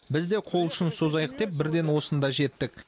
біз де қол ұшын созайық деп бірден осында жеттік